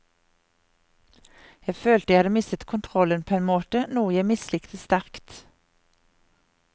Jeg følte jeg hadde mistet kontrollen på en måte, noe jeg mislikte sterkt.